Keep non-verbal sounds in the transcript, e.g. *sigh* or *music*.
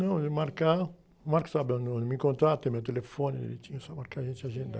Não, e marcar, o *unintelligible* sabe aonde, onde me encontrar, tem meu telefone, direitinho, só marcar e a gente agendar.